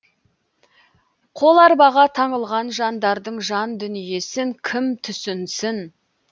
қоларбаға таңылған жандардың жан дүниесін кім түсінсін